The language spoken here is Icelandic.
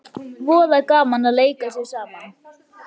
Voða gaman að leika sér saman